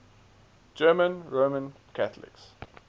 german roman catholics